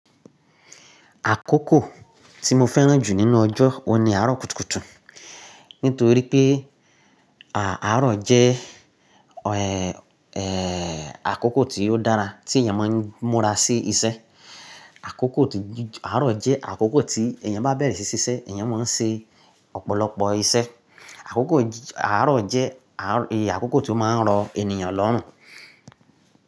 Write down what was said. Àkókò tí mo fẹ́ràn jù nínú ọjọ́ o ni àárọ̀ kùtùkùtù. Nítorí pé, à, àárọ̀ jẹ́, ẹ àkókò tí ó dára tí èyàn mo n múra sí iṣẹ́. Àkókò tí, àárọ̀ jẹ́ àkókò tí èyàn bá bẹ̀rẹ̀ sí ṣiṣẹ́ èèyàn mo n ṣe ọ̀pọ̀lọpọ̀ iṣẹ́. Àkókò àárọ̀ jẹ́, e,, àkókò tí ó máa ń rọ ènìyàn lọ́hùn.